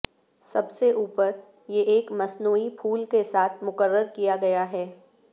سب سے اوپر یہ ایک مصنوعی پھول کے ساتھ مقرر کیا گیا ہے